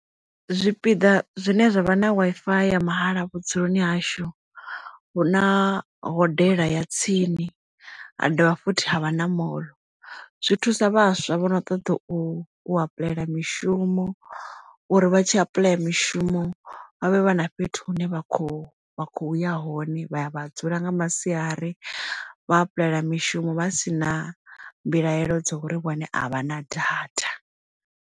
Zwipiḓa zwine zwavha na Wi-Fi ya mahala vhudzuloni hashu hu na hodela ya tsini ha dovha futhi havha na moḽo zwi thusa vhaswa vho no ṱoḓa u u apply mishumo uri vha tshi apuḽaya mishumo vha vhe vha na fhethu hune vha kho vha khou ya hone vha ya vha dzula nga masiari vha apuḽaya mishumo vha sina mbilaelo dza uri vhone a vha na data.